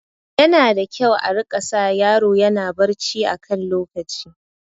Yana da kyau a rika sa yaro yana barci a kan lokaci